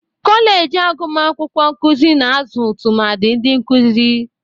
Kọleji agumakwụkwọ nkụzị na-azụ tụmadị ndị nkụzị.